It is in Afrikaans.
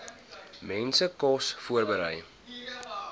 mense kos voorberei